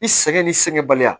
I sɛgɛn ni sɛgɛn baliya